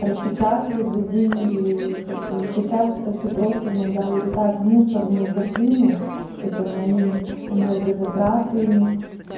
распечатывать за деньги и как бы сейчас это всё просто иногда улетают в мусорную корзину это мои энергозатраты не с